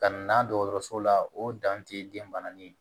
Ka na dɔgɔtɔrɔso la o dan tɛ den bananin ye